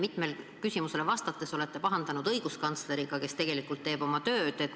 Te olete siin küsimusele vastates pahandanud õiguskantsleriga, kes tegelikult teeb oma tööd.